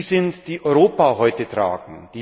sind, die Europa heute tragen.